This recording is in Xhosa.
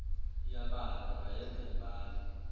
iyabala ungayenza ibale